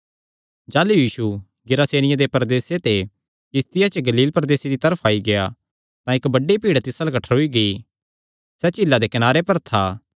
जाह़लू यीशु गिरासेनियां दे प्रदेसे ते किस्तिया च गलीले प्रदेसे दी तरफ आई गेआ तां इक्क बड्डी भीड़ तिस अल्ल कठ्ठरोई गेई सैह़ झीला दे कनारे पर था कि